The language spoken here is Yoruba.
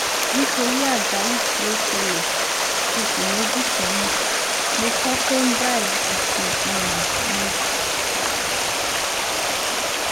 nítorí àjálù tí ó ṣẹlẹ oṣù méjì sẹyìn mo fọ condyle òsì um mi